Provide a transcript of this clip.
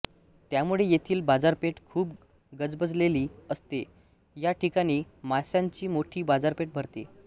त्यामुळे येथील बाजारपेठ खूप गजबजलेली असते या ठिकाणी मास्यांची मोठी बाजारपेठ भरते